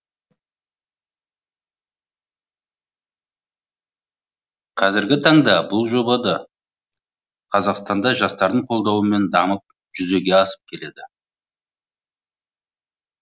қазіргі таңда бұл жоба да қазақстанда да жастардың қолдауымен дамып жүзеге асып келеді